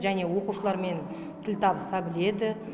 және оқушылармен тіл табыса біледі